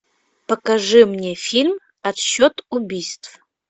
покажи мне фильм отсчет убийств